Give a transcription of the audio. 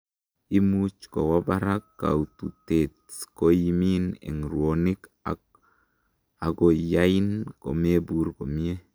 imuch kowo barak koututet ,koimin en rwonik ak akoyain komebur komie